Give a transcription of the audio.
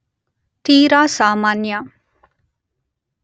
ತೀರ ಸಾಮಾನ್ಯ